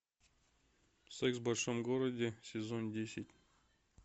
секс в большом городе сезон десять